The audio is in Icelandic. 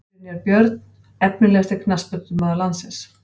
Brynjar Björn Efnilegasti knattspyrnumaður landsins?